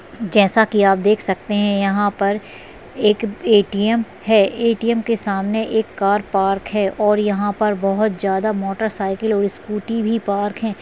जैसा की आप देख सकते है यहाँ पर एक ए_टी_एम है ए_टी_एम के सामने कार पार्क है और यहाँ पर बहुत ज्यादा मोटरसाइकल और स्कूटी भी पार्क है।